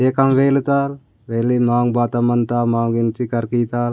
ये कान वेलतर वेली मांग बात अमांत मोग एंट्री करकी ताल --